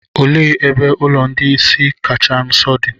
òle ebe ulo ndi-ìsì kacha nso di?